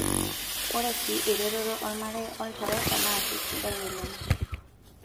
Ore sii eretoto olmarei olchoreta naa keisidai oleng'.